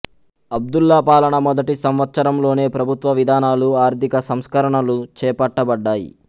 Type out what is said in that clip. అబ్దుల్లా పాలన మొదటి సంవత్సరంలోనే ప్రభుత్వ విధానాలు ఆర్థిక సంస్కరణలు చేపట్టబడ్డాయి